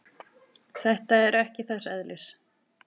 Þetta er ekki þess eðlis.